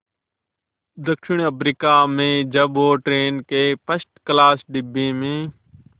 दक्षिण अफ्रीका में जब वो ट्रेन के फर्स्ट क्लास डिब्बे में